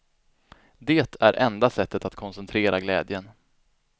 Det är enda sättet att koncentrera glädjen.